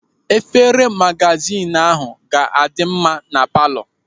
Efere magazin ahụ ga-adị mma na palọ.